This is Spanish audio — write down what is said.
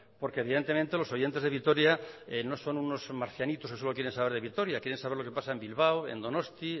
porque evidentemente los oyentes de vitoria no son unos marcianitos que solo quieren saber de vitoria quieren saber lo que pasa en bilbao en donosti